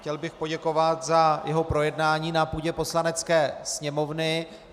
Chtěl bych poděkovat za jeho projednání na půdě Poslanecké sněmovny.